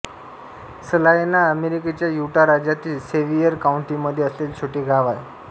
सलायना अमेरिकेच्या युटा राज्यातील सेव्हियेर काउंटीमध्ये असलेले छोटे गाव आहे